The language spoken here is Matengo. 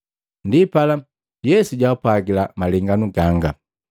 Ndipala Yesu jaapwagila malengano ganga.